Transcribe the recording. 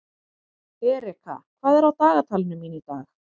Erika, hvað er á dagatalinu mínu í dag?